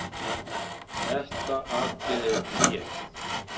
Þetta atriði er tvíeggjað.